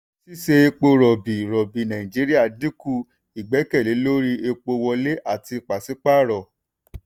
ṣíṣe epo rọ̀bì rọ̀bì nàìjíríà dínkù ìgbẹ́kẹ̀lé lórí epo wọlé àti paṣípààrọ̀.